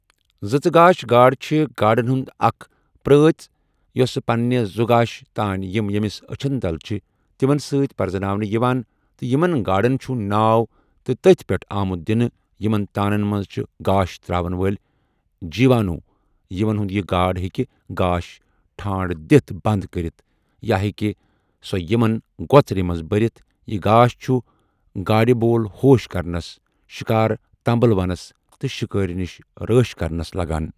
زٕژٕگاش گاڈ چھہٕ گاڈَن ہِنٛد اَکھ پرٛٲژؠ یۄَس پَنہِ زُگاش تان یِم یێمِس أچھَن تَل چھہٕ تِمَن سٟتؠ پرَٛزناونہٕ یِوان تہٕ یِمَن گاڈَن چھُ ناو تہٕ تَتھی پێٹھہٕ آمُت دِنہٕ یِمَن تانَن مَنٛز چھہٕ گاش ترٛاوَن وٲلؠ جيٖوانوٗ یِمَن ہُنٛد یہِ گاڈ ہێکہِ گاش ٹھانڈٕ دِتھ بَنٛد کٔرِتھ یا ہێکہِ سۄَ یِمَن گۄَژرِ مَنٛز بٔرِتھ یہِ گاش چھُ گاڈِ بول بوش کرنَس، شِکار تنٛبٕلونَس، تہٕ شِکٲرؠ نِش رٲش کَرنَس لَگان۔